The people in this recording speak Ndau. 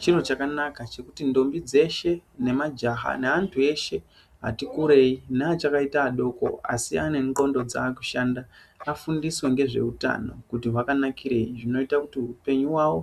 Chiro chakanaka chekuti ntombi dzeshe nemajaha neandu eshe atikurei neachakaita vadoko asi anenglondo dzakushanda afundiswe ngezveutano kuti hwakanakirei zvinoitakuti upenyu hwavo